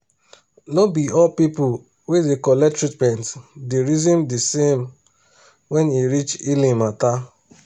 no be all people wey da collect treatment da reason de same when e reach healing matter